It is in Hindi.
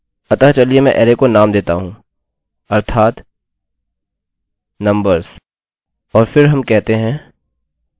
अतःचलिए मैं अरैarray को नाम देता हूँ अर्थात नम्बर्स